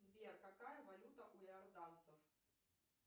сбер какая валюта у иорданцев